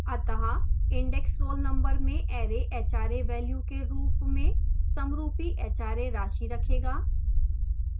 अतः index roll number में array hra value के रूप में समरूपी hra राशि रखेगा